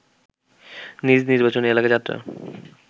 নিজ নির্বাচনী এলাকায় যাত্রা